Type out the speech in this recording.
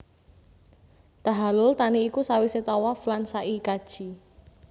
Tahallul thani iku sawisé tawaf lan sa i kaji